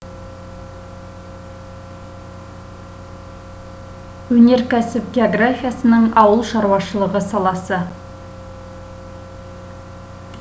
өнеркәсіп географиясының ауыл шаруашылығы саласы